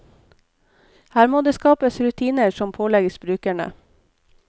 Her må det skapes rutiner som pålegges brukerne.